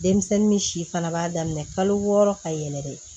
Denmisɛnnin ni si fana b'a daminɛ kalo wɔɔrɔ ka yɛlɛ de